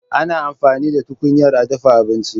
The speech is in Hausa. Ana amfani da tukunyar a dafa abinci.